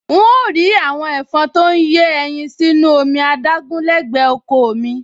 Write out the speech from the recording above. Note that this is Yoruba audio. N óò rí àwọn ẹ̀fọn tó ń yé ẹyin sínú omi adágún lẹ́gbẹ̀ẹ́ oko ò mi